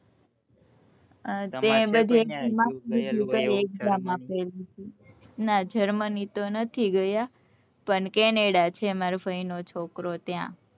ના Germany તો નથી ગયા પણ Canada છે મારા ફાઈ નો છોકરો ત્યાં